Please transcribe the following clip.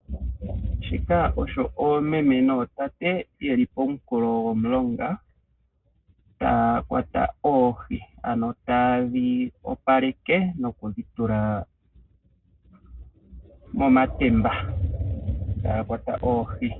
Shika osho oomeme nootate yeli pomunkulo gomulonga taya kwata oohi ano ta yedhi opaleke noku dhi tula momatemba, taya kwata oohi.